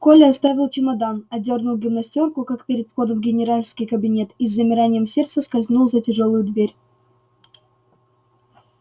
коля оставил чемодан одёрнул гимнастёрку как перед входом в генеральский кабинет и с замиранием сердца скользнул за тяжёлую дверь